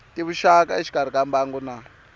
tivuxaka exikarhi ka mbangu na